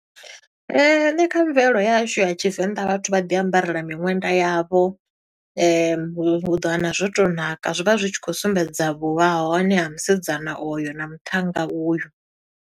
Nṋe kha mvelelo ya hashu ya Tshivenḓa vhathu vha ḓi ambarela miṅwenda yavho . U ḓo wana zwo to ṋaka, zwi vha zwi tshi khou sumbedza vhuvhahone ha musidzana oyo na muṱhannga uyu.